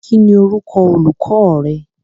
Kín ni orúkọ olùkọ rẹ?